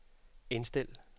indstil